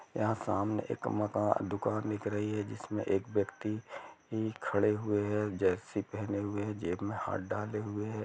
यहाँ सामने एक मका-- दुकान दिख रही हैंजिसमें एक व्यक्त्ति भी खड़े हुए हैंजर्सी पहने हुए हैं जेब में हाथ डाले हुए हैं।